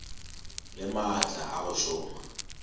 le maatla a go šoma